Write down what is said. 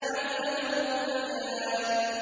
عَلَّمَهُ الْبَيَانَ